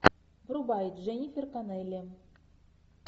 врубай дженнифер коннелли